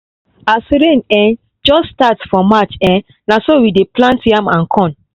as rain um just dey start for march um na so we dey plant yam and corn